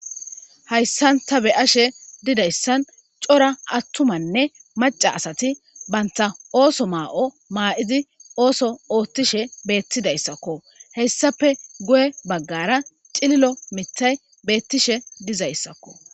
Hayssanta be ashe didayssan cora attumanne maca asati baynta ooso maa'o maa'izi ooso oothtishe beettidayssakko hessape guye baggara xililo mithay beettishe dizayssakko